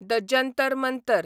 the Jantar Mantar